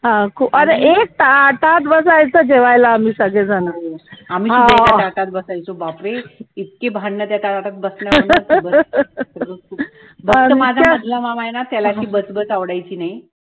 हा अरे एक ताटात बसायचा जेवायला आम्ही सगले जण